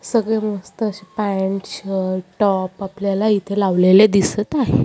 सगळे मस्त असे पॅंट शर्ट टॉप आपल्याला इथे लावलेले दिसत आहे.